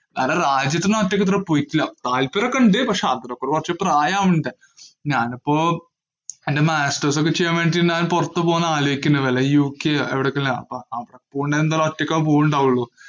നല്ല റായിച്ചിട്ടു ഒക്ക്കെ പോയിട്ടില്ല. താല്പര്യമൊക്കെ ഉണ്ട്. പക്ഷേ അതിനൊക്കെ കൊറച്ചു പ്രായമാവണ്ടേ. ഞാനിപ്പോ എന്‍റെ masters ഒക്കെ ചെയ്യാന്‍ വേണ്ടി പൊറത്തു പോകാന്‍ ആലോചിക്കുന്നു. വല്ല യു കെയോ എവിടേക്കെങ്കിലും അവിടെ പോവുകയാണെ ഒറ്പോറയ്കുക്കകേ യുണ്ടാവുള്ളൂ.